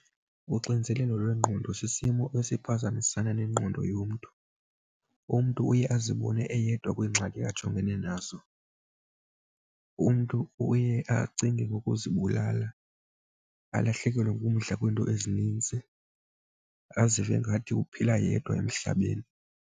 Uxinizelelo lwengqondo sisimo esiphazamisana nengqondo yomntu. Umntu uye azibone eyedwa kwingxaki ajongene nazo. Umntu uye acinge ngokuzibulala, alahlekelwe ngumdla kwiinto ezininzi, azive ngathi uphila yedwa emhlabeni.